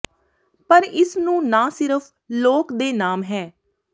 ਪਰ ਇਸ ਨੂੰ ਨਾ ਸਿਰਫ ਲੋਕ ਦੇ ਨਾਮ ਹੈ